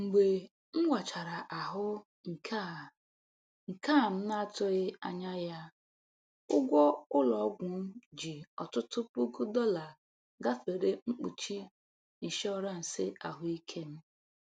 Mgbe m wachara ahụ nke a nke a m na-atụghị anya ya, ụgwọ ụlọ ọgwụ m ji ọtụtụ puku dollar gafere mkpuchi ịnshọransị ahụike m.